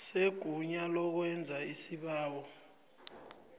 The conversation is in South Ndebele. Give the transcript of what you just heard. segunya lokwenza isibawo